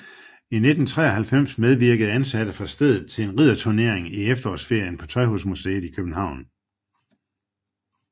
I 1993 medvirkede ansatte fra stedet til en ridderturnering i efterårsferien på Tøjhusmuseet i København